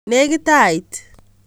Nekit ait